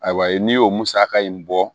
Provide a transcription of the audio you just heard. Ayiwa n'i y'o musaka in bɔ